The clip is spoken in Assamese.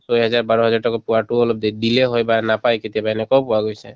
ছয় হাজাৰ বাৰহাজাৰ টকা পোৱাতো অলপ day delay হয় বা নাপাই কেতিয়াবা এনেকুৱাও পোৱা গৈছে